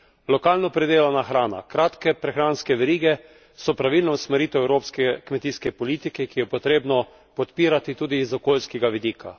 Lokalno pridelana hrana, kratke prehranske verige so pravilna usmeritev evropske kmetijske politike, ki jo je potrebno podpirati tudi z okoljskega vidika.